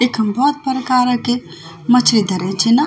इखम भौत प्रकारा की मछली धर्या छिन।